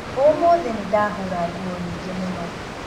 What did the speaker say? Ũmũthĩ nĩ ndahũra nguo nyingĩ mũno.